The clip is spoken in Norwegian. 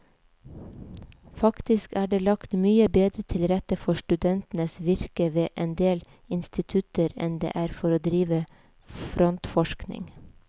Faktisk er det lagt mye bedre til rette for studentenes virke ved endel institutter enn det er for å drive frontforskning.